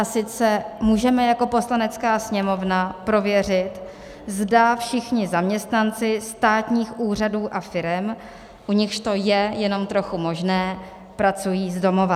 A sice můžeme jako Poslanecká sněmovna prověřit, zda všichni zaměstnanci státních úřadů a firem, u nichž to je jenom trochu možné, pracují z domova.